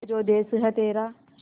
ये जो देस है तेरा